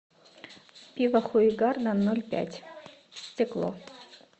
пиво хугарден ноль пять стекло